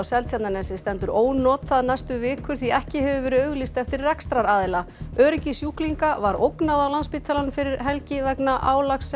Seltjarnarnesi stendur ónotað næstu vikur því ekki hefur verið auglýst eftir rekstraraðila öryggi sjúklinga var ógnað á Landspítalanum fyrir helgi vegna álags